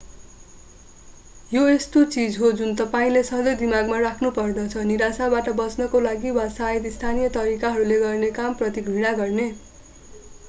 यो त्यस्तो चीज हो जुन तपाईंले सधैं दिमागमा राख्नुपर्दछ निराशाबाट बच्नका लागि वा सायद स्थानीय तरिकाहरूले गर्ने काम प्रति घृणा गर्ने